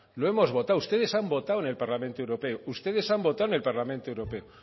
lo hemos votado ustedes han votado en el parlamento europeo ustedes han votado en el parlamento europeo